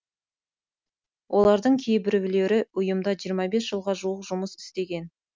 олардың кейбіреуі ұйымда жиырма бес жылға жуық жұмыс істеген